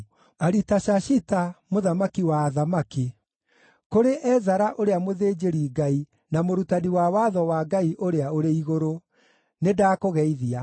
Aritashashita, mũthamaki wa athamaki, Kũrĩ Ezara ũrĩa mũthĩnjĩri-Ngai na mũrutani wa Watho wa Ngai ũrĩa ũrĩ igũrũ: Nĩndakũgeithia.